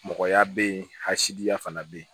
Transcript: Mɔgɔya bɛ yen hasidiya fana bɛ yen